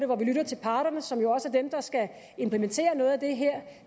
hvor vi lytter til parterne som jo også er dem der skal implementere noget af det her